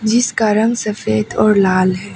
जिसका रंग सफेद और लाल है।